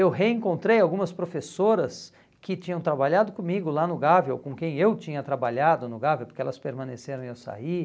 Eu reencontrei algumas professoras que tinham trabalhado comigo lá no Gávea, ou com quem eu tinha trabalhado no Gávea, porque elas permaneceram e eu saí.